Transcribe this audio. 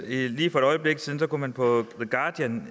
lige for et øjeblik siden har man på the guardians